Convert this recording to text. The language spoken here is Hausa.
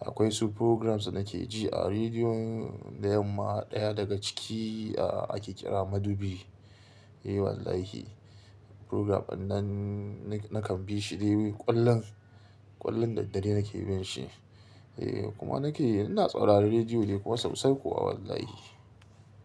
Akwai su programs da nake ji a rediyon da yamma ɗaya daga ciki ake kira madubi. Eh wallahi program dannan nakan bi shi dai kwallon, kwallon daddare nake bin shi. Eh kuma nake ina tsaurara rediyo dai kuma sosai kuwa wallahi.